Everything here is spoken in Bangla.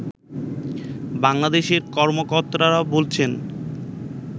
বাংলাদেশের কর্মকর্তারা বলেছেন